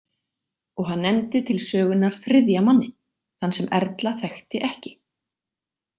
Og hann nefndi til sögunnar þriðja manninn, þann sem Erla þekkti ekki.